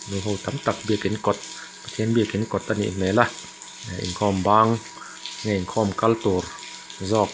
nu hi tam tak biakin kawt pathian biakin kawt a nih hmel a eh inkhawm bang nge inkhawm kal tur zawk.